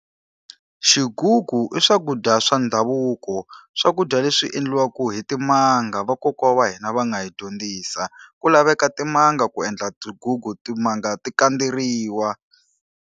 Xigugu i swakudya swa ndhavuko. Swakudya leswi endliwaka hi timanga, vakokwana wa hina va nga yi dyondzisa. Ku laveka timanga ku endla xigugu timanga to kandzeriwa.